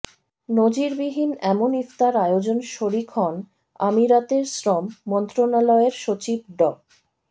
নজিরবিহীন এমন ইফতার আয়োজনে শরিক হন আমিরাতের শ্রম মন্ত্রণালয়ের সচিব ড